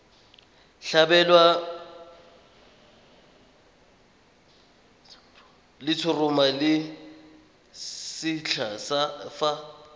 tlhabelwa letshoroma le lesetlha fa